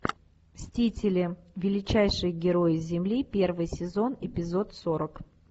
мстители величайшие герои земли первый сезон эпизод сорок